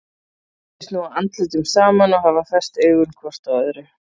Þau snúa andlitum saman og hafa fest augun hvort á öðru.